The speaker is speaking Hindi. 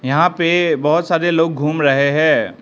यहां पे बहुत सारे लोग घूम रहे हैं।